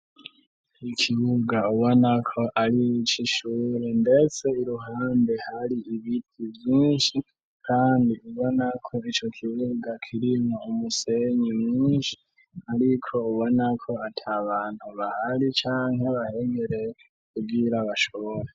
Ikibuga ubona ko ari ikishure ndetse iruhande hari ibiti byinshi kandi ubona ko icyo kibuga kirime umusenyi mwinshi ariko ubona ko ate abantu bahari canke bahegereye kugira bashobore.